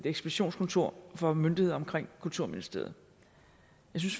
ekspeditionskontor for myndigheder omkring kulturministeriet